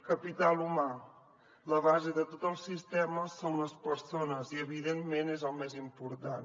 capital humà la base de tot el sistema són les persones i evidentment és el més important